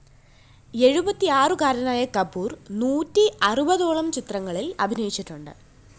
എഴുപത്തിആറുകാരനായ കപൂര്‍ നൂറ്റി അറുപതോളം ചിത്രങ്ങളില്‍ അഭിനയിച്ചിട്ടുണ്ട്